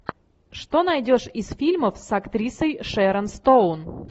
что найдешь из фильмов с актрисой шэрон стоун